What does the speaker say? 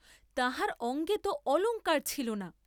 তাহার অঙ্গে তো অলঙ্কার ছিল না।